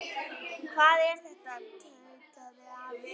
Hvað er þetta? tautaði afi.